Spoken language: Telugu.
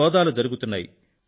సోదాలు జరుగుతున్నాయి